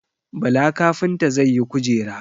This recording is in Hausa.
Bala kafinta zai yi Kujera.